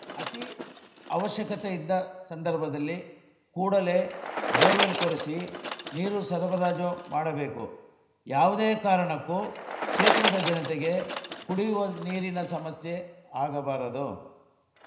ಅತಿ ಅವಶ್ಯಕತೆ ಇದ್ದ ಸಂದರ್ಭದಲ್ಲಿ ಕೂಡಲೇ ಬೋರ್‌ವೆಲ್‌ ಕೊರೆಸಿ ನೀರು ಸರಬರಾಜು ಮಾಡಬೇಕು ಯಾವುದೇ ಕಾರಣಕ್ಕೂ ಕ್ಷೇತ್ರದ ಜನತೆಗೆ ಕುಡಿಯುವ ನೀರಿನ ಸಮಸ್ಯೆ ಆಗಬಾರದು